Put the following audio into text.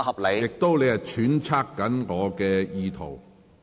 你亦在揣測我的意圖。